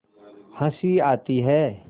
हँसी आती है